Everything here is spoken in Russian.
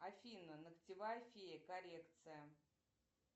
афина ногтевая фея коррекция